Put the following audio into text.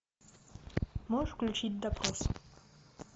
можешь включить допрос